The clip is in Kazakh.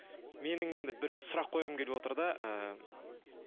менің енді бір сұрақ қойғым келіп отыр да ыыы